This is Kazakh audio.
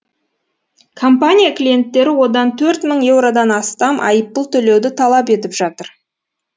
компания клиенттері одан төрт мың еуродан астам айыппұл төлеуді талап етіп жатыр